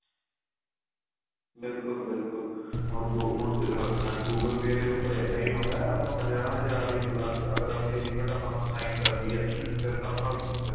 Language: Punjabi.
ਬਿਲਕੁਲ ਬਿਲਕੁਲ ਹੁਣ ਆਪਣਾ google pay ਦੇ ਉੱਪਰ ਇਹਦਾ ਹੀ ਹੁੰਦਾ ਆਪਾਂ ਪੰਜਾਹ ਹਜ਼ਾਰ ਇੱਕ ਲੱਖ਼ ਅਗਰ ਆਪਣੀ limit ਆਪਾਂ ਨੂੰ assign ਕਰਦੀ ਏ ਫ਼ੇਰ ਤਾਂ ਆਪਾਂ